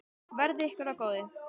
Verði ykkur að góðu.